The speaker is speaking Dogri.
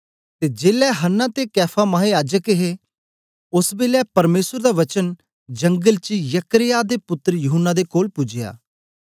ते जेलै हन्ना ते कैफा महायाजक हे ओस बेलै परमेसर दा वचन जंगल च जकर्याह दे पुत्तर यूहन्ना दे कोल पूजया